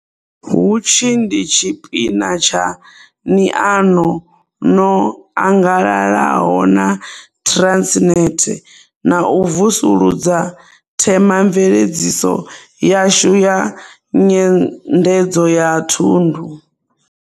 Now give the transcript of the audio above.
Hutshi ndi tshi pina tsha niano ṅo angalalaho na Trannet na u vusuludza themamveledziso yashu ya nyendedzo ya thundu.